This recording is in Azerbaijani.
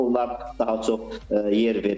Onlar daha çox yer veriblər.